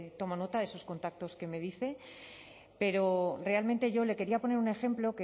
tomo nota de esos contactos que me dice pero realmente yo le quería poner un ejemplo